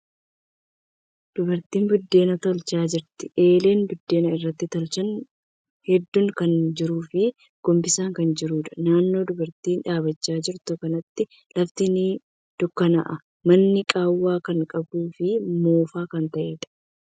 Dubartiin buddeena tolchaa jirti. Eelen buddeena irratti tolchan hedduun kan jiruu fii gombisaan kan jiruudha. Naannoo dubartiin dhaabbachaa jirtu kanatti lafti ni dukkanaa'a. Manni qaawwa kan qabuu fi moofaa kan ta'eedha.